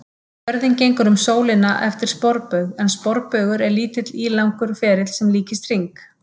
Jörðin gengur um sólina eftir sporbaug en sporbaugur er örlítið ílangur ferill sem líkist hring.